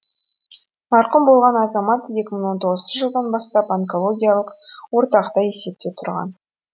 марқұм болған азамат екі мың он тоғызыншы жылдан бастап онкологиялық орталықта есепте тұрған